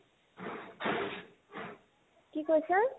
কি কৈছা ?